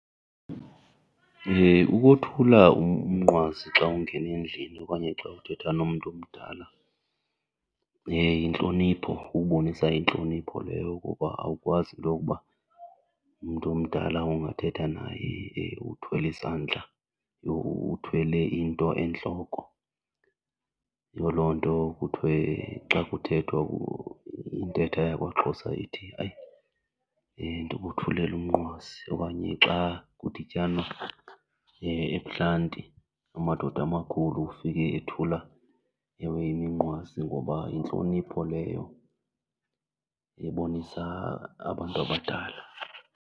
Ukothula umnqwazi xa ungena endlini okanye xa uthetha nomntu omdala yintlonipho, kubonisa intlonipho leyo kuba awukwazi intokuba umntu omdala ungathetha naye uthwele isandla, yho uthwele into entloko. Yiyo loo nto kuthiwe xa kuthethwa intetha yakwaXhosa ithi, hayi ndikothulela umnqwazi, okanye xa kudityanwa ebuhlanti amadoda amakhulu ufike ethula ewe iminqwazi ngoba yintlonipho leyo ebonisa abantu abadala.